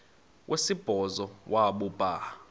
wesibhozo wabhu bha